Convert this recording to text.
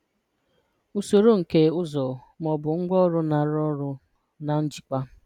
Usoro nke ụzọ ma ọ bụ ngwaọrụ na-arụ ọrụ na njikwa.